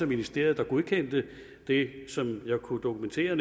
ministeriet der godkendte det som jeg kunne dokumentere